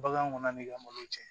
Bagan kɔnɔni ka malo cɛ